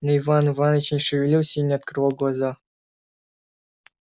но иван иваныч не шевелился и не открывал глаза